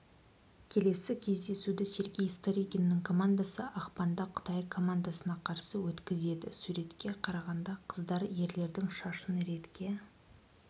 келесі кездесуді сергей старыгиннің командасы ақпанда қытай командасына қарсы өткізеді суретке қарағанда қыздар ерлердің шашын ретке